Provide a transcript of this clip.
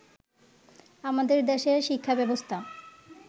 আমাদের দেশের শিক্ষাব্যবস্থা